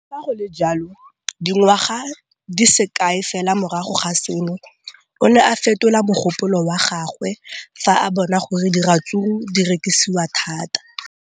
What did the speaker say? Le fa go le jalo, dingwaga di se kae fela morago ga seno, o ne a fetola mogopolo wa gagwe fa a bona gore diratsuru di rekisiwa thata.